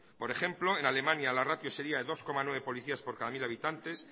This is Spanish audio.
por ejemplo en alemania la ratio sería de dos coma nueve policías por cada mil habitantes